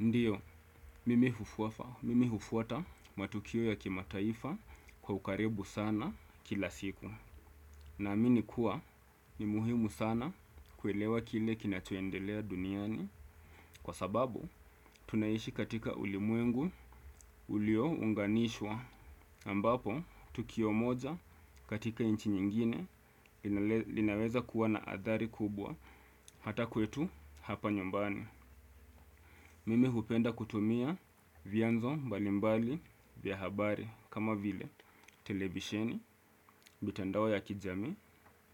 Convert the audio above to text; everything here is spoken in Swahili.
Ndiyo, mimi hufuwafa, mimi hufuata matukio ya kima taifa kwa ukaribu sana kila siku. Na amini kuwa ni muhimu sana kuelewa kile kinachoendelea duniani kwa sababu tunayishi katika ulimuengu ulio unganishwa. Ambapo, tukio moja katika inchi nyingine linaweza kuwa na athari kubwa hata kwetu hapa nyumbani. Mimi hupenda kutumia vianzo mbalimbali vya habari kama vile televisheni mitandao ya kijami